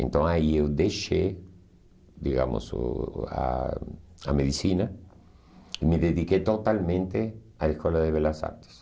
Então aí eu deixei, digamos, o o a a medicina e me dediquei totalmente à Escola de Belas Artes.